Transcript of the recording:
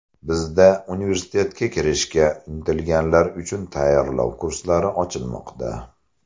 Bizda universitetga kirishga intilganlar uchun tayyorlov kurslari ochilmoqda!